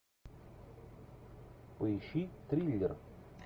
поищи триллер